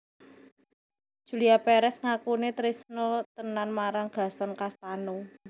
Julia Perez ngakune trisno tenan marang Gaston Castano